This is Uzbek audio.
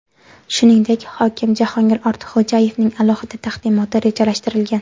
Shuningdek, hokim Jahongir Ortiqxo‘jayevning alohida taqdimoti rejalashtirilgan.